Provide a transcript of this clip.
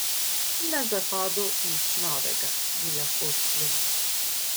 Na zahodu nič novega, bi lahko sklenili.